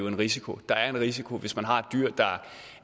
en risiko der er en risiko hvis man har et dyr der